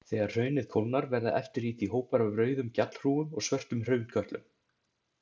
Þegar hraunið kólnar verða eftir í því hópar af rauðum gjallhrúgum og svörtum hraunkötlum.